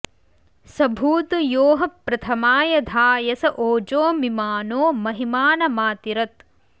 स भूतु यो ह प्रथमाय धायस ओजो मिमानो महिमानमातिरत्